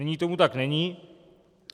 Nyní tomu tak není.